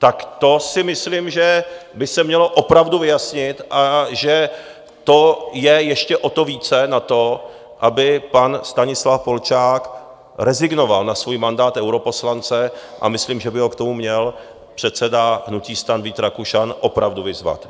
Tak to si myslím, že by se mělo opravdu vyjasnit a že to je ještě o to více na to, aby pan Stanislav Polčák rezignoval na svůj mandát europoslance, a myslím, že by ho k tomu měl předseda hnutí STAN Vít Rakušan opravdu vyzvat.